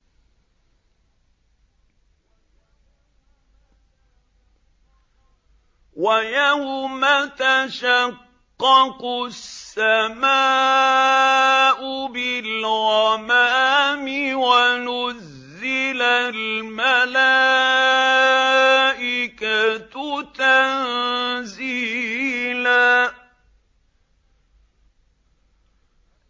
وَيَوْمَ تَشَقَّقُ السَّمَاءُ بِالْغَمَامِ وَنُزِّلَ الْمَلَائِكَةُ تَنزِيلًا